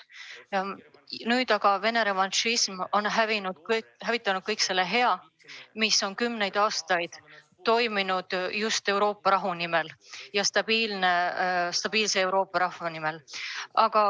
Nüüd aga on Vene revanšism hävitanud kõik selle hea, mis on kümneid aastaid rahumeelses ja stabiilses Euroopas toiminud.